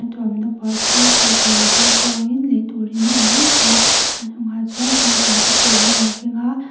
chu cycle ah chuan chuang in lei tur in a en mek a a hnungah chuan tingtang te pawh an lo keng a.